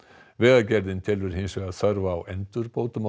vegagerðin telur hins vegar þörf á endurbótum á